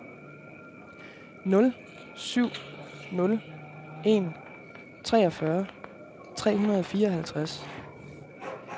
nul syv nul en treogfyrre tre hundrede og fireoghalvtreds